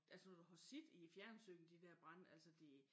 Altså når du har set i fjernsynet de dér brande altså det